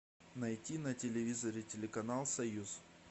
найти на телевизоре телеканал союз